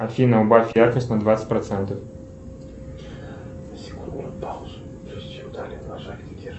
афина убавь яркость на двадцать процентов